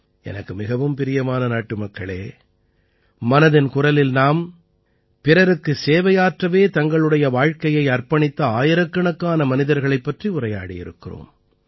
எனக்கு மிகவும் பிரியமான நாட்டுமக்களே மனதின் குரலில் நாம் பிறருக்கு சேவையாற்றவே தங்களுடைய வாழ்க்கையை அர்ப்பணித்த ஆயிரக்கணக்கான மனிதர்களைப் பற்றி உரையாடியிருக்கிறோம்